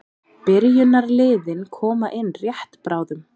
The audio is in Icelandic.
Byrjunarliðin koma inn rétt bráðum.